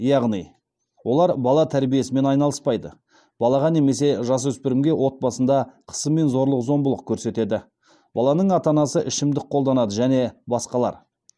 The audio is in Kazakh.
яғни олар бала тәрбиесімен айналыспайды балаға немесе жасөспірімге отбасында қысым мен зорлық зомбылық көрсетеді баланың ата анасы ішімдік қолданады және басқалар